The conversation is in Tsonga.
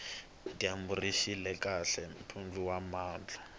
dyambu rixile kahle mpundu wa namuntlha